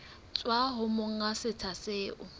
tswa ho monga setsha seo